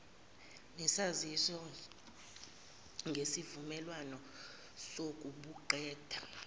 nesaziso ngesivumelwano sokubuqeda